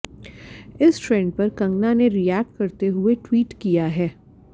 इस ट्रेंड पर कंगना ने रिएक्ट करते हुए ट्वीट किया है